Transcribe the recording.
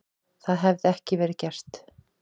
Það hefði ekki verið gert.